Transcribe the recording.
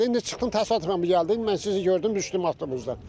İndi çıxdım təsadüfən bu gəldi, mən sizi gördüm düşdüm avtobuzdan.